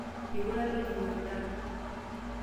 Eiputa ilojinga endaa.